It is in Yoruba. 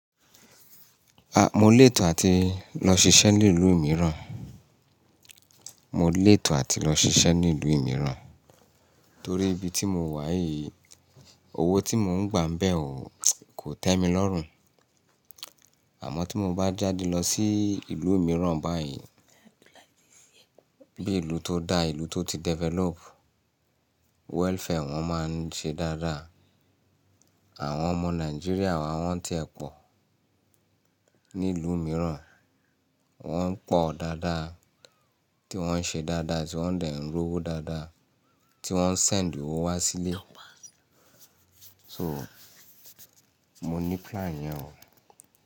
Mo lè tò àti lọ ṣiṣẹ́ ní ìlú mìíràn. Mo lè tò àti lọ ṣiṣẹ́ ní ìlú mìíràn torí ibi tí mo wà yìí, owó tí mo ń gbà mbẹ̀ ò, kò tẹ́ mi lọ́rùn. Àmọ́ tí mo bá jáde lọ sí ìlú mìíràn báyìí, bí ìlú tó da, ìlú tó ti develop, welfare wọn máa ń ṣe dáadáa. Àwọn ọmọ Nàìjíríà wa wọ́n ti ẹ pọ̀ ní ìlú mìíràn, wọ́n ń pọ̀ dáadáa, tí wọ́n ń ṣe dáadáa tí wọ́n dẹ̀ ń ró owó dáadáa, tí wọ́n ń send owó wá sílé. So, mo ní plan yẹn o.